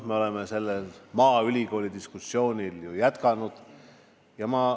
Me oleme seda maaülikooli diskussiooni ju jätkanud.